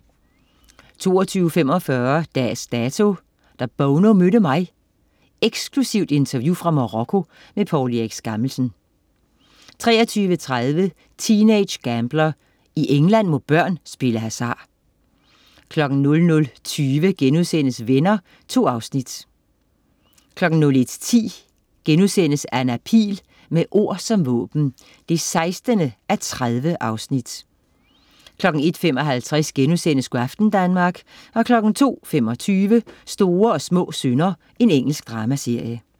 22.45 Dags Dato: Da Bono mødte mig ... Eksklusivt interview fra Marokko. Poul Erik Skammelsen 23.30 Teenage Gambler. I England må børn spille hasard 00.20 Venner.* 2 afsnit 01.10 Anna Pihl. Med ord som våben 16:30* 01.55 Go' aften Danmark* 02.25 Små og store synder. Engelsk dramaserie